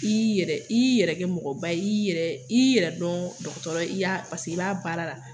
I y'i yɛrɛ i y'i yɛrɛ kɛ mɔgɔba ye i y'i yɛrɛ i y'i yɛrɛ dɔn dɔgɔtɔrɔ ye i y'a paseke i b'a baara la.